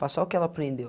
Passar o que ela aprendeu.